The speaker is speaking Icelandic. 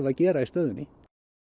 að gera í stöðunni